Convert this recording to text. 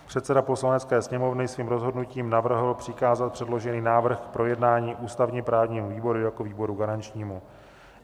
Předseda Poslanecké sněmovny svým rozhodnutím navrhl přikázat předložený návrh k projednání ústavně-právnímu výboru jako výboru garančnímu.